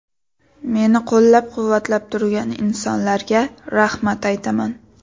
Meni qo‘llab-quvvatlab turgan insonlarga rahmat aytaman.